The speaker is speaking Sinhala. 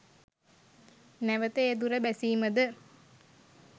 නැවත ඒ දුර බැසීමද